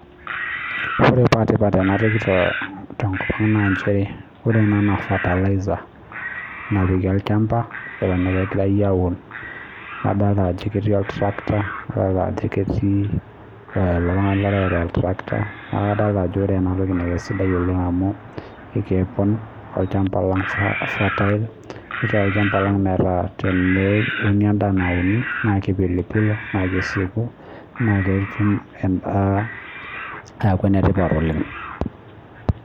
Ore paa tipata ena toki tenkop ang' naa nchere ore ena naa fertilizer napiki olchamba eton aa kegirai aun. Adolita ajo keeti ol tractor adolita ajo ketii iltung'ana oreu ilo tractor neeku kadolita ajo ore ena toki naa kaisidai oleng' amu kepon olchamba lang' fertile netii olchamba lang' meeta teneuni olchamba lang' nauni nas keipilipilua naa kesiaku naa ketum edaa aku ene tipat oleng'.